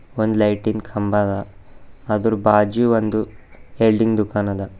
ಒಂದು ಲೈಟಿನ್ ಕಂಬ ಅದ ಅದರ ಬಾಜು ಒಂದು ವೆಲ್ಡಿಂಗ್ ದುಖಾನ ಅದ.